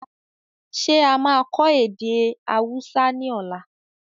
Ṣé a máa kọ èdè Hausa ni ọ̀la?